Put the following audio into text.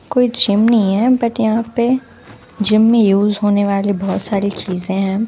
कोई जिम नहीं है बट यहाँ पे जिम में यूज़ होने वाले बहुत सारे चीज़ें हैं।